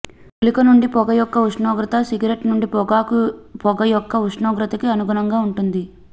గుళిక నుండి పొగ యొక్క ఉష్ణోగ్రత సిగరెట్ నుండి పొగాకు పొగ యొక్క ఉష్ణోగ్రతకి అనుగుణంగా ఉంటుంది